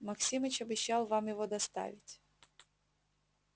максимыч обещал вам его доставить